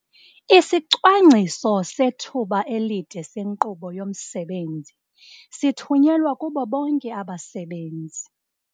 Isicwangciso sethuba elide senkqubo yomsebenzi sithunyelwe kubo bonke abasebenzi.